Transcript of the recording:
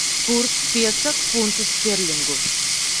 курс песо к фунту стерлингов